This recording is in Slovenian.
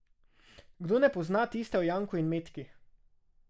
Kdo ne pozna tiste o Janku in Metki?